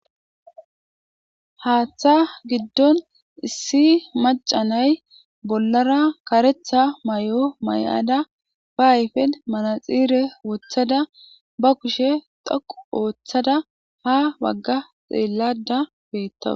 haaththa giddon issi macanay bollara karetha mayo mayada ba ayfen manaxire woththada ba kushe dhoqu ooththada ha bagga xeellayda beetawusi.